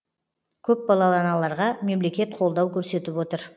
көпбалалы аналарға мемлекет қолдау көрсетіп отыр